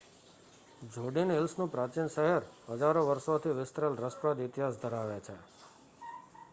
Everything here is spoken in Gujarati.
જુડિન હિલ્સ નું પ્રાચીન શહેર હજારો વર્ષો થી વિસ્તરેલ રસપ્રદ ઇતિહાસ ધરાવે છે